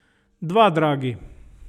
Dva dragi.